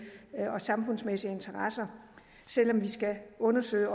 og samfundsmæssige interesser selv om vi skal undersøge